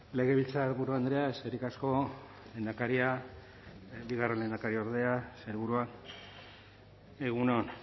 legebiltzarburu andrea eskerrik asko lehendakaria bigarren lehendakariordea sailburua egun on